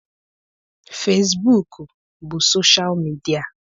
Fesbuk bụ soshal midia.